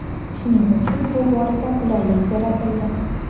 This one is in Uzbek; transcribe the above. Shuning uchun bu borada qulaylik yaratildi.